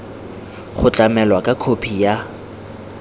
go tlamelwa ka khophi ya